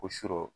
O sɔrɔ